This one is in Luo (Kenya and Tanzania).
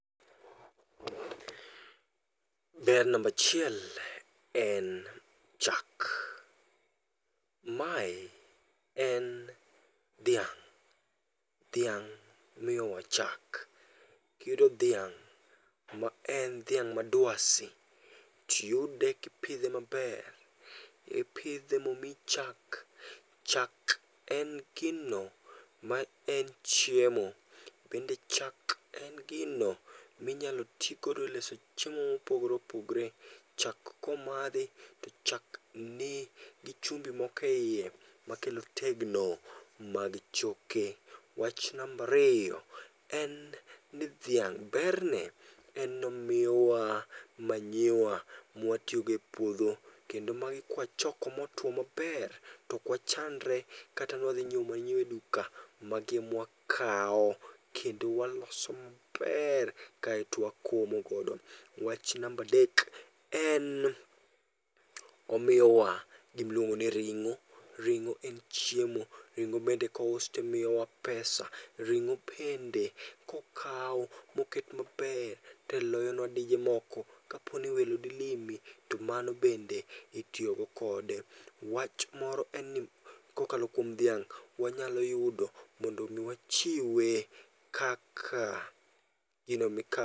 Ber nambachiel en chak. Mae en dhiang', dhiang' miyowa chak. Kiyudo dhiang' ma en dhiang' ma dwasi, tiyude kipidhe maber, ipidhe momiyi chak. Chak en gino ma en chieo, bende chak en gino minyalo tigodo e loso chiemo mopogore opogore. Chak komadhi to chak nigi chumbi mokeiye, makelo tegno mag choke. Wach nambariyo, en ni dhiang' berne en nomiyowa manyiwa mwatiyogo e puodho. Kendo magi kwachoko motwo maber tokwachandre kata ni wadhi nyiewo manyiwa e duka, magi e mwakao. Kendo waloso maber kaeto wakomo godo. Wach nambadek en omiyowa gimiluongo ni ring'o, ring'o en chiemo, ring'o bende kous timiyowa pesa. Ring'o bende kokaw moket maber teloyonwa dije moko, kaponi welo dilimi to mando bende itiyogo kode. Wach moro en ni kokalo kuom dhiang' wanyalo yudo mondo mi wachiwe kaka gino mika.